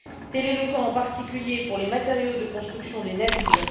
Tel est le cas en particulier pour les matériaux de construction des navires.